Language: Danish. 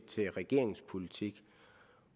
til regeringens politik